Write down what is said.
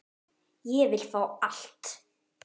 Ég vil fá allt.